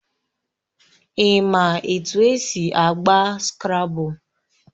Ị ma etu esi agba Skrabụl?